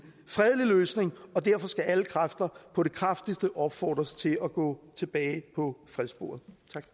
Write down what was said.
fredelig løsning og derfor skal alle kræfter på det kraftigste opfordres til at gå tilbage på fredssporet